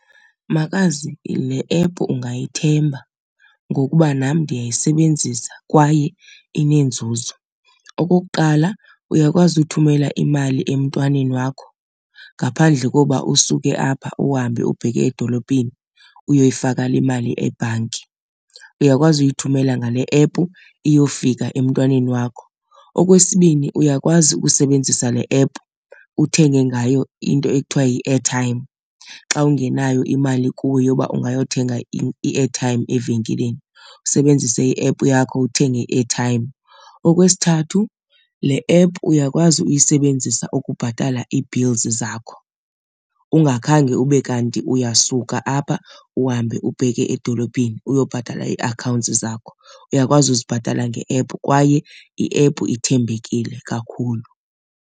Makazi le app ungayithemba ngokuba nam ndiyayisebenzisa kwaye inenzuzo. Okokuqala, uyakwazi uthumela imali emntwaneni wakho ngaphandle kokuba usuke apha uhambe ubheke edolophini uyoyifaka le mali ebhanki, uyakwazi uyithumela ngale app iyofika emntwaneni wakho. Okwesibini, uyakwazi ukusebenzisa le app uthenge ngayo into ekuthiwa yi-airtime xa ungenayo imali kuwe yoba ungayothenga i-airtime evenkileni, usebenzise i-app yakho uthenge i-airtime. Okwesithathu, le app uyakwazi uyisebenzisa ukubhatala ii-bills zakho ungakhange ube kanti kanti uyasuka apha uhambe ubheke edolophini uyobhatala ii-accounts zakho. Uyakwazi ukuzibhatala nge-app kwaye i-app ithembekile kakhulu.